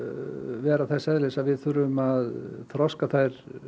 vera þess eðlis að við þurfum að þroska þær